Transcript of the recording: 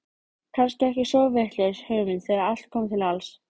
Kannski ekki svo vitlaus hugmynd þegar allt kom til alls.